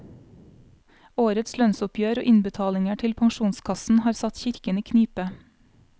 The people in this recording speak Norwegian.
Årets lønnsoppgjør og innbetalinger til pensjonskassen har satt kirken i knipe.